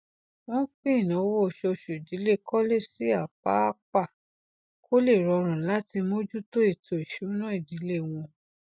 wọn pín ináwó oṣooṣu ìdílé cole sí apáapá kó le rọrùn láti mojútó ètò ìsúná ìdílé wọn